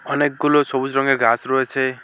অনেকগুলো সবুজ রঙ্গের গাছ রয়েছে।